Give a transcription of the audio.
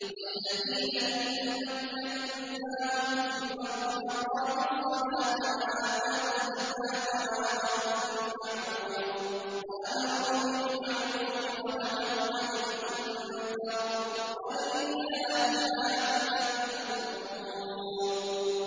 الَّذِينَ إِن مَّكَّنَّاهُمْ فِي الْأَرْضِ أَقَامُوا الصَّلَاةَ وَآتَوُا الزَّكَاةَ وَأَمَرُوا بِالْمَعْرُوفِ وَنَهَوْا عَنِ الْمُنكَرِ ۗ وَلِلَّهِ عَاقِبَةُ الْأُمُورِ